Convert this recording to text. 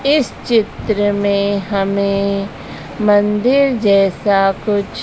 इस चित्र में हमें मंदिर जैसा कुछ--